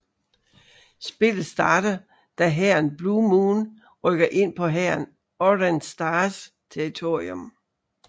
Spillet starter da hæren Blue Moon rykker ind på hæren Orange Stars territorium